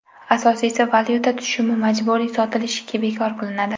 Asosiysi valyuta tushumi majburiy sotilishi bekor qilinadi.